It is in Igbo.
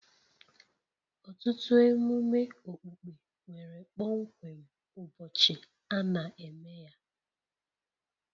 Ọtụtụ emume okpukpe nwere kpọmkwem ụbọchị a na-eme ya